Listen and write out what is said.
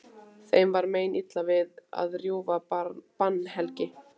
Þeim var meinilla við að rjúfa bannhelgi